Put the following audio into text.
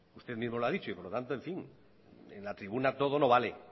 usted mismo lo ha dicho y por lo tanto en fin en la tribuna todo no vale